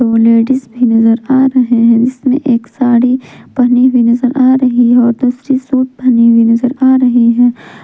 दो लेडिस भी नजर आ रहे हैं जिसमें एक साड़ी पहनी हुई नजर आ रही है और दूसरी सूट पहनी हुई नजर आ रही है।